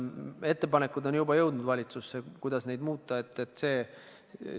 Ettepanekud, kuidas neid muuta, on juba jõudnud valitsusse.